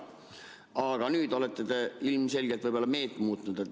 Aga nüüd olete te ilmselgelt meelt muutnud.